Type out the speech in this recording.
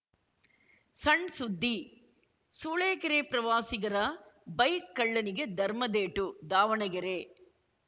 ಸಣ್‌ ಸುದ್ದಿ ಸೂಳೆಕೆರೆ ಪ್ರವಾಸಿಗರ ಬೈಕ್‌ ಕಳ್ಳನಿಗೆ ಧರ್ಮದೇಟು ದಾವಣಗೆರೆ